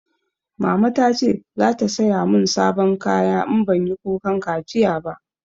Mama ta ce za ta saya mun sabon kaya in banyi kukan kaciya ba